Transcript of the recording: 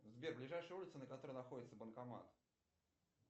сбер ближайшая улица на которой находится банкомат